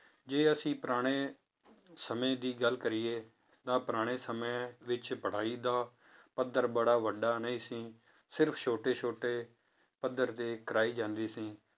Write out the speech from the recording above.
ਜੇ ਅਸੀਂ ਪੁਰਾਣੇ ਸਮੇਂ ਦੀ ਗੱਲ ਕਰੀਏ ਤਾਂ ਪੁਰਾਣੇ ਸਮੇਂ ਵਿੱਚ ਪੜ੍ਹਾਈ ਦਾ ਪੱਧਰ ਬੜਾ ਵੱਡਾ ਨਹੀਂ ਸੀ, ਸਿਰਫ਼ ਛੋਟੇ ਛੋਟੇ ਪੱਧਰ ਦੇ ਕਰਾਈ ਜਾਂਦੀ ਸੀ